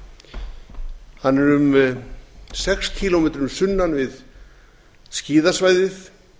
bláfjallasvæðinu hann er um sex kílómetrum sunnan við skíðasvæðið